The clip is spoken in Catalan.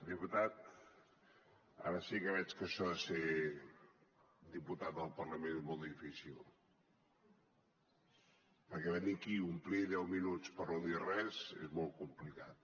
diputat ara sí que veig que això de ser diputat al parlament és molt difícil perquè venir aquí a omplir deu minuts per no dir res és molt complicat